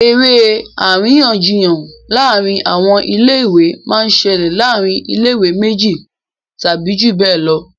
eré àríyànjiyàn láàrin àwọn ilé ìwé máa ń ṣẹlẹ̀ láàrin ilé ìwé méjì tàbí jù bẹ́ẹ̀ lọ